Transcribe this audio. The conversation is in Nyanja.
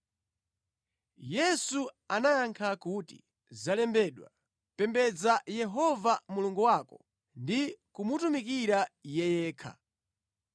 Yesu anayankha kuti, “Zalembedwa: ‘Pembedza Yehova Mulungu wako ndi kumutumikira Iye yekha.’ ”